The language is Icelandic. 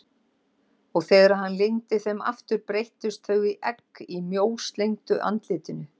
Og þegar hann lygndi þeim aftur breyttust þau í egg í mjóslegnu andlitinu.